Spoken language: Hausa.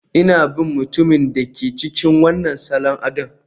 Ina bin mutumin da ke cikin wannan salon adon